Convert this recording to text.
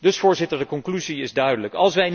Dus Voorzitter, de conclusie is duidelijk.